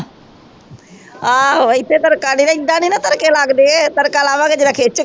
ਆਹੋ ਇਥੇ ਤੜਕਾ ਏਦਾਂ ਨੀ ਤੜਕੇ ਲਗਦੇ ਤੜਕਾ ਲਾਵਾਂਗੇ